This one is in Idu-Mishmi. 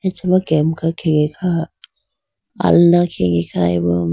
acha ma kemka khege kha alna khege khayi bo.